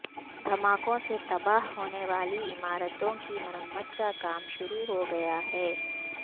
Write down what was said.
دھماکوں سے تباہ ہونے والی عمارتوں کی مرمت کا کام شروع ہو گیا ہے